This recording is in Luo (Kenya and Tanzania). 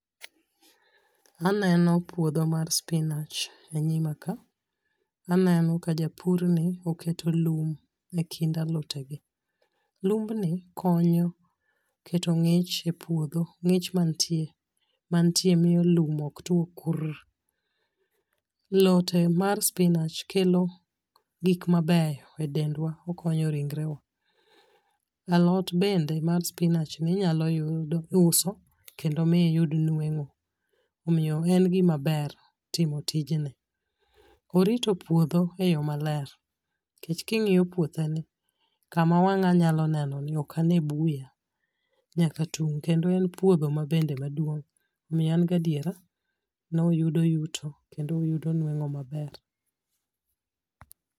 Aneno puodho mar spinach e nyima ka. Aneno ka japur ni oketo lum ekind alote gi. Lumbni konyo keto ng'ich e puodho. Ng'ich mantie mantie miyo lum ok tuo kur. Lote mar spinach kelo gik mabeyo e dendwa. Okonyo ringre wa. Alot bende mar spinach ni inyalo yudo uso kendo mi yud nueng'o. Omiyo en gima ber timo tijni. Orito puodho e yo maler. Nikech king'iyo puothe ni kama wang'a nyalo neno ni ok ane buya nyaka tung'. Kendo en puodho mabende maduong' omiyo an gadiera ni oyudo yuto kendo oyudo nuengo' maber.